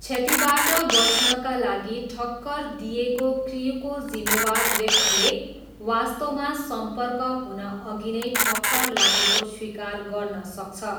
क्षतिबाट बच्नका लागि, ठक्कर दिइएको क्र्यूको जिम्मेवार व्यक्तिले वास्तवमा सम्पर्क हुनअघि नै ठक्कर लागेको स्वीकार गर्न सक्छ।